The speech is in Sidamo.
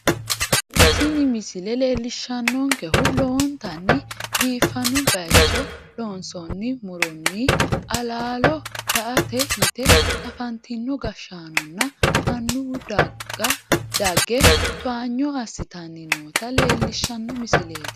tini misile leellishshannonkehu lowontanni biifanno bayicho loonsoonni muronn alaalo la'ate yite afantino gashshaanonna annuwu dage towaanyo assi'tanni noota leellishshanno misileeti.